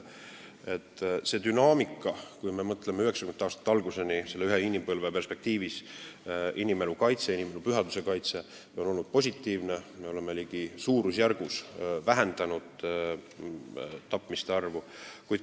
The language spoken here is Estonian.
Mõtleme dünaamikale alates 1990. aastate algusest, ühe inimpõlve perspektiivis: inimelu kaitse, inimelu pühaduse kaitse on positiivse dünaamikaga, me oleme ligi suurusjärgu võrra vähendanud tapmiste arvu.